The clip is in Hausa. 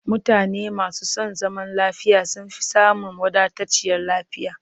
Mutane masu son zaman lafiya sun fi samun wadatacciyar lafiya